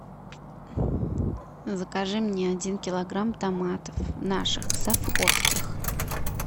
закажи мне один килограмм томатов наших совхозских